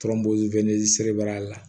Tɔrɔ wɛlɛbɛ la